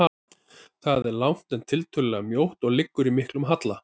Það er langt, en tiltölulega mjótt og liggur í miklum halla.